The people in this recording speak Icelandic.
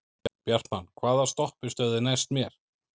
Bjartmann, hvaða stoppistöð er næst mér?